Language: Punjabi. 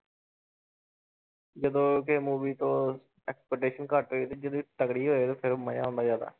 ਜਦੋਂ ਕਿ movie ਤੋਂ expectation ਘੱਟ ਹੋਏ ਤੇ ਜਦੋਂ ਤਕੜੀ ਹੋਏ ਤੇ ਫਿਰ ਮਜ਼ਾ ਆਉਂਦਾ ਜ਼ਿਆਦਾ।